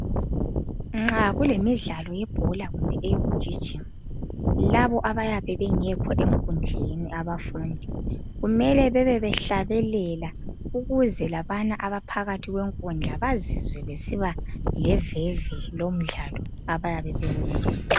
Nxa kulemidlalo yebhola kumbe eyokugijima laba abayabe bengekho enkundleni abafundi kumele bebe behlabelela ukuze labana abaphakathi kwenkundla bazizwe besiba leveve lomdlalo abayabe bewenza.